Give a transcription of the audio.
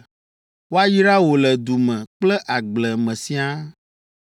Woayra wò le du me kple agble me siaa.